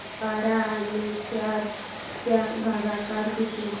बारा आणि चार चा भागाकर किती